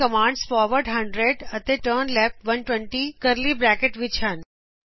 ਇਥੇ commands forward 100 ਅਤੇ ਟਕਨਲੈਫਟ 120 ਕਰਲੀ ਬਰੈਕਟ ਵਿੱਚ ਹਨ